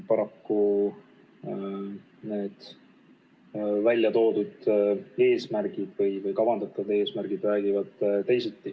Paraku, kavandatud eesmärgid räägivad teist juttu.